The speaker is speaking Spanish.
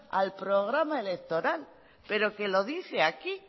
al programa electoral pero que lo dice aquí